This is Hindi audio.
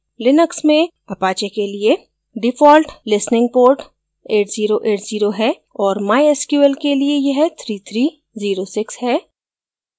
लिनक्स में apache के लिए default listening port 8080 है और mysql के लिए यह 3306 है